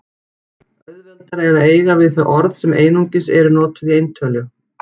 Auðveldara er að eiga við þau orð sem einungis eru notuð í eintölu.